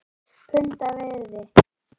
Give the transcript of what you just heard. Punda virði??!?